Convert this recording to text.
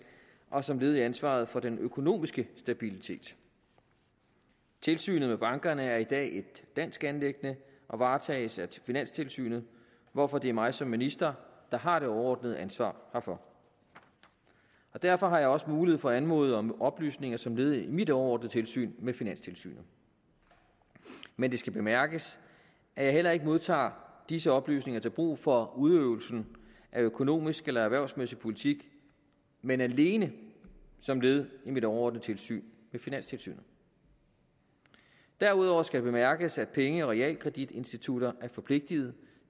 og som led i ansvaret for den økonomiske stabilitet tilsynet med bankerne er i dag et dansk anliggende og varetages af finanstilsynet hvorfor det er mig som minister der har det overordnede ansvar herfor derfor har jeg også mulighed for at anmode om oplysninger som led i mit overordnede tilsyn med finanstilsynet men det skal bemærkes at jeg heller ikke modtager disse oplysninger til brug for udøvelsen af økonomisk eller erhvervsmæssig politik men alene som led i mit overordnede tilsyn med finanstilsynet derudover skal det bemærkes at penge og realkreditinstitutter er forpligtet